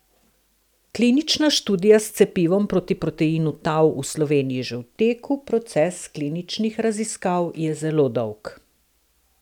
Klinična študija s cepivom proti proteinu tau v Sloveniji že v teku Proces kliničnih raziskav je zelo dolg.